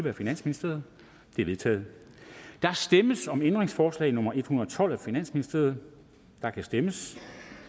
af finansministeren de er vedtaget der stemmes om ændringsforslag nummer en hundrede og tolv af finansministeren og der kan stemmes